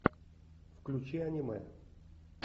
включи аниме